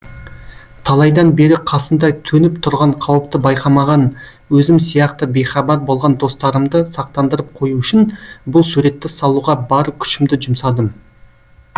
талайдан бері қасында төніп тұрған қауіпті байқамаған өзім сияқты бейхабар болған достарымды сақтандырып қою үшін бұл суретті салуға бар күшімді жұмсадым